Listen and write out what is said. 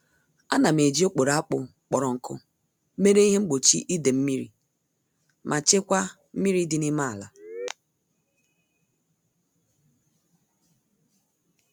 Ánám eji okporo akpụ kpọrọ nkụ mere ihe mgbochi idee-mmiri ma chekwaa mmiri dị n'ime àlà